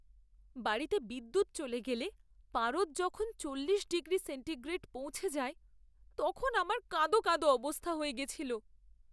বাড়িতে বিদ্যুৎ চলে গেলে পারদ যখন চল্লিশ ডিগ্রি সেন্টিগ্রেড পৌঁছে যায়, আমার তখন কাঁদো কাঁদো অবস্থা হয়ে গেছিল।